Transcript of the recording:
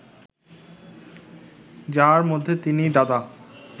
যার মধ্যে তিনি, দাদা